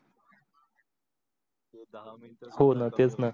ते दहा मिंट कमी हो न तेच णा